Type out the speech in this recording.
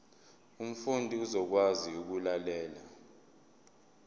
umfundi uzokwazi ukulalela